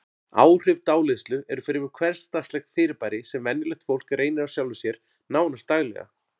Áhrif dáleiðslu eru fremur hversdagslegt fyrirbæri sem venjulegt fólk reynir á sjálfu sér, nánast daglega.